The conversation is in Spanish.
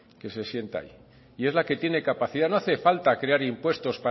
que se sienta ahí y es la que tiene capacidad no hace falta crear impuestos